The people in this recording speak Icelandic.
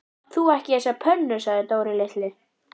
Átt þú ekki þessa pönnu? sagði Dóri litli.